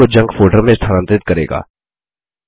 और उनको junk folder में स्थानांतरित करेगा